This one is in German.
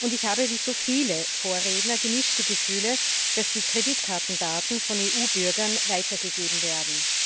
Ich habe wie so viele Vorredner gemischte Gefühle, dass die Kreditkartendaten von EU Bürgern weitergegeben werden.